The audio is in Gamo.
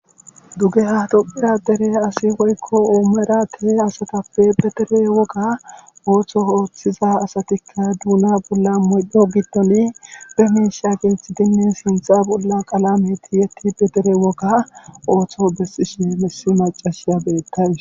duge ha tophiya dere asi woykko oomera tehe asatappe bedere woga ooththo ooththiza asatikka duuna bolla moydho giddone befisha geethi dinnin sintha bolla qalameti yetti bedere woga ooththo bessishine mesi macashiya beettawis